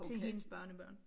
Til hendes børnebørn